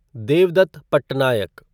Devdutt Patnaik